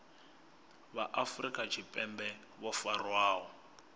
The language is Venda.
vha afrika tshipembe vho farwaho